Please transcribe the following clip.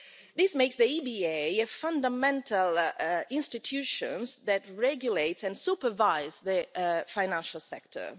This makes the EBA a fundamental institution that regulates and supervises the financial sector.